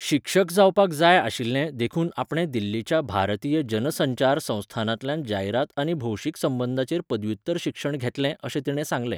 शिक्षक जावपाक जाय आशिल्लें देखून आपणे दिल्लीच्या भारतीय जन संचार संस्थानांतल्यान जायरात आनी भौशीक संबंदांचेर पदव्युत्तर शिक्षण घेतलें अशें तिणें सांगलें.